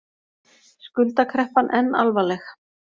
Skuldakreppan enn alvarleg